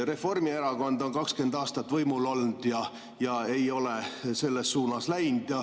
Reformierakond on 20 aastat võimul olnud, aga ei ole selles suunas läinud.